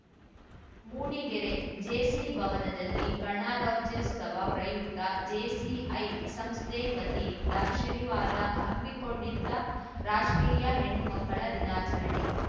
Mudigere JC ಭವನದಲ್ಲಿ ಗಣರಾಜ್ಯೋತ್ಸವ ಪ್ರಯುಕ್ತ ಜೆಸಿಐ ಸಂಸ್ಥೆ ವತಿಯಿಂದ ಶನಿವಾರ ಹಮ್ಮಿಕೊಂಡಿದ್ದ ರಾಷ್ಟ್ರೀಯ ಹೆಣ್ಣುಮಕ್ಕಳ ದಿನಾಚರಣೆ